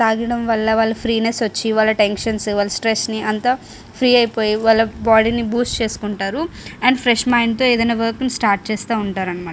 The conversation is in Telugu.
తాగడం వల్ల వాళ్ళ ఫ్రీనేస్ వచ్చి టెన్షన్స్ వాళ్ళ స్ట్రెస్ నీ అంతా ఫ్రీ అయిపోయి వాళ్ళ బాడీ ని బూస్ట్ చేసుకుంటూ ఉంటారు. అండ్ ఫ్రెష్ మైండ్ తో ఏదైన వర్క్ ని స్టార్ట్ చేసుకుంటా ఉంటారనమాట.